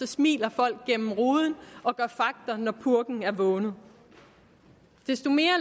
smiler folk gennem ruden og gør fagter når purken er vågnet desto mere